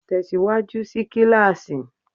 Tẹ̀síwájú sí kíláàsì!